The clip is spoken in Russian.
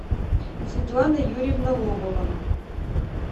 светлана юрьевна лобова